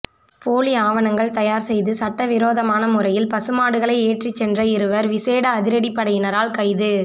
போலி ஆவணங்கள் தயார் செய்து சட்டவிரோதமான முறையில் பசு மாடுகளைச் ஏற்றிச் சென்ற இருவர் விசேட அதிரடி படையினரால் கைது